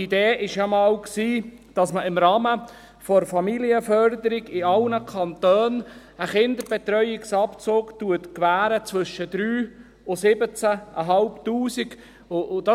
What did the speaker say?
Die Idee war ja einmal, dass man im Rahmen der Familienförderung in allen Kantonen einen Kinderbetreuungsabzug zwischen 3000 Franken und 17 500 Franken gewährt.